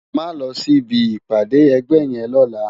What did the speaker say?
Má lò si bi ipàdé ègbè yèn lòlá